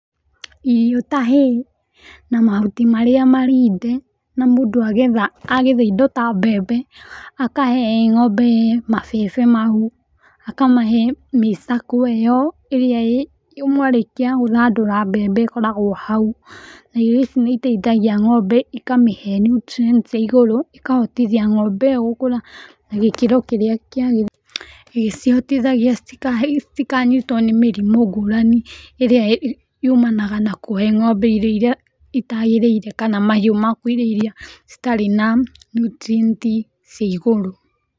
Irio ta hay na mahuti marĩa marinde na mũndũ agetha indo ta mbembe akahe ng'ombe mambembe mau akamahe mĩcakwe ĩyo ĩrĩa mwarĩkia gũthandũra mbembe ĩkoragwo hau, na irio ici nĩiteithagia ng'ombe na ikamĩhe nutrients cia igũrũ na ikahotithia ng'ombe ĩyo gũkũra na gĩkĩro kĩria kĩagĩrĩire ĩgĩcihtithagia citikanyitwo nĩ mĩrimũ ngũrani ĩrĩa yumanaga na kũhe ng'ombe irio iria itagĩrĩire kana mahiũ maku irio iria citarĩ na nutrients cia igũrũ.